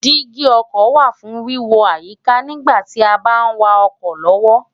dígí ọkọ̀ wà fún wíwo àyíká nígbà tí a bá ń wa ọkọ̀ lọ́wọ́